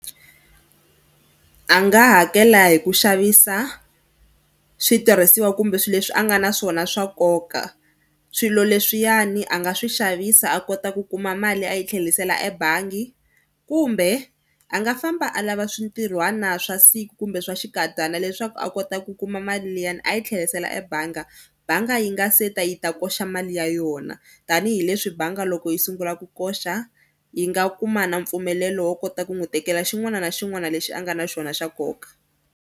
A nga hakela hi ku xavisa switirhisiwa kumbe swilo leswi a nga na swona swa nkoka. Swilo leswiyani a nga swi xavisa a kota ku kuma mali a yi tlherisela ebangi kumbe a nga famba a lava swintirhwana swa siku kumbe swa xinkadyana leswaku a kota ku kuma mali liyani a yi tlherisela ebangi. Banga yi nga se ta yi ta koxa mali ya yona tanihileswi bangi loko yi sungula ku koxa yi nga kuma na mpfumelelo wo kota ku n'wi tekela xin'wana na xin'wana lexi a nga na xona xa nkoka.